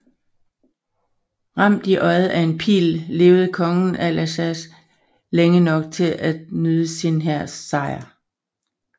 Ramt i øjet af en pil levede kongen af Lagash længe nok til at nyde sin hærs sejr